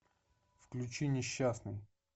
включи несчастный